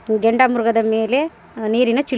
ಗೆಂಡ ಮೃಗದ ಮೇಲೆ ನೀರಿನ ಚೀ --